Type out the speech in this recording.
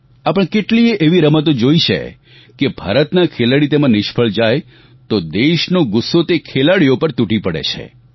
આપણે કેટલીયે એવી રમતો જોઈ છે કે ભારતના ખેલાડી તેમાં નિષ્ફળ જાય તો દેશનો ગુસ્સો તે ખેલાડીઓ પર તૂટી પડે છે